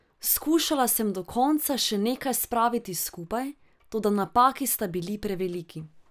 Skušala sem do konca še nekaj spraviti skupaj, toda napaki sta bili preveliki.